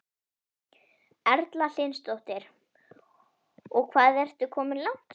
Erla Hlynsdóttir: Og hvað ertu komin langt?